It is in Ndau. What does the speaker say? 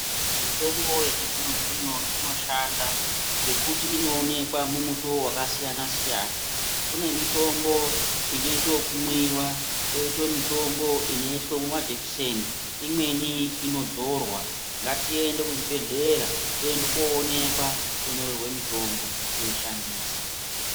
Mitombo yechizvino zvino inoshanda ngekuti inowonekwa mumitowo yakasiyana siyana. Kune mitombo inoitwa yokumwiwa, koita mitombo inoiswa mumajekiseni, imweni inodzorwa. Ngatiende kuzvibhedhlera, tiende tindoonekwa, tonyorerwe mitombo teishandisa.